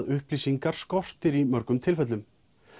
upplýsingar skortir í mörgum tilfellum